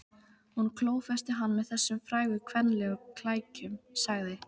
Hún klófesti hann með þessum frægu kvenlegu klækjum, sagði